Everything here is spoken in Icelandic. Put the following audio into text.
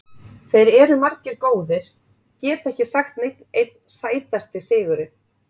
Þeir eru margir góðir, get ekki sagt neinn einn Sætasti sigurinn?